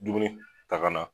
Dumuni ta ka na